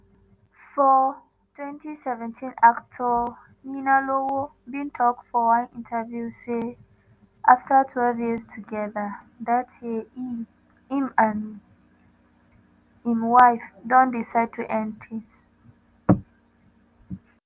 for twenty seventeen actor ninalowo bin tok for one interview say afta twelve years togeda dat year e im and im wife don decide to end tins.